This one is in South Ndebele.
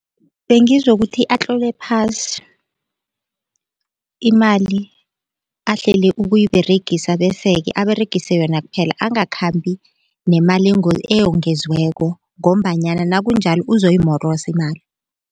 Bengizokuthi atlole phasi imali ahlele ukuyiberegisa bese-ke aberegise yona kuphela angakhambi nemali eyongezweko ngombanyana nakunjalo uzoyimorosa imali.